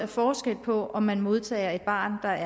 forskel på om man modtager et barn der